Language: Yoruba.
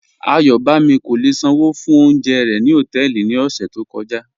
Ayọ̀bámi kò lè ṣánwó fún ọ̀unjẹ̀ rẹ̀ ni họtẹẹlì ni ọṣẹ̀ tó kọja